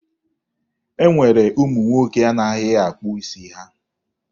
E nwere ụmụ nwoke na-anaghị akpụ isi ha.